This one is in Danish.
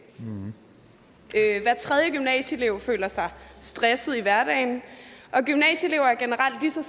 hver tredje gymnasieelev føler sig stresset i hverdagen og gymnasieelever er generelt lige så